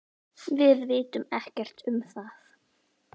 Við vitum ekkert um það.